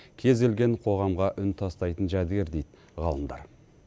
кез келген қоғамға үн тастайтын жәдігер дейді ғалымдар